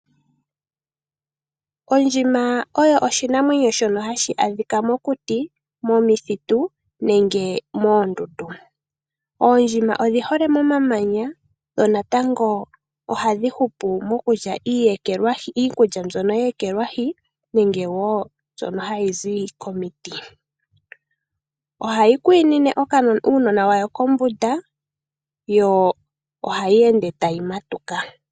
Oondjima oyo oshinamwenyo shono hashi adhika mokuti, momithitu nenge moondudu. Oondjima odhi hole momamanya, dho natango oha dhi hupu mokulta iikulya mbyoka ye ekelwahii nenge wo mbyoka hayi zi komiiti. Ohayi kwiinine uundjimwena wayo kombunda yo ohayi ende tayi matuka.